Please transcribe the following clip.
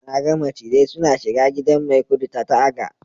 na ga macizai suna shiga gidan maikudu ta taga